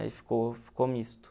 Aí ficou ficou misto.